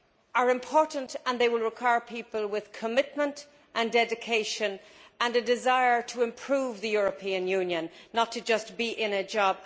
are important, and they will require people with commitment, dedication and a desire to improve the European Union, not just to be in a job.